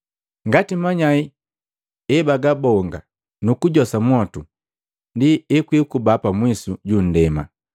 Ngati manyai ebagabonga nukujosa mwotu, ndi ekwikuba pamwisu ju nndema.